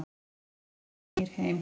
Gunnar Heiðar snýr heim